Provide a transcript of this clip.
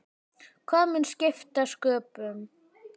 Hvað mun skipta sköpum?